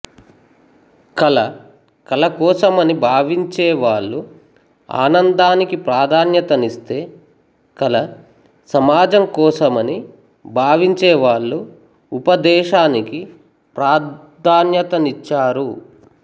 కళ కళకోసమని భావించేవాళ్ళు ఆనందానికి ప్రాధాన్యతనిస్తే కళ సమాజంకోసమని భావించే వాళ్ళు ఉపదేశానికి ప్రాధ్యాన్యతనిచ్చారు